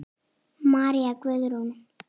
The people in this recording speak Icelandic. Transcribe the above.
María Guðrún.